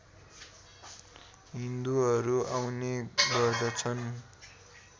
हिन्दूहरू आउने गर्दछन्